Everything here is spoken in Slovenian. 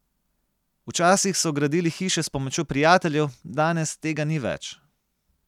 Včasih so gradili hiše s pomočjo prijateljev, danes tega ni več ...